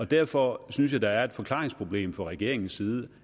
derfor synes jeg der er et forklaringsproblem fra regeringens side